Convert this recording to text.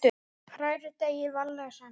Hrærið deigið varlega saman.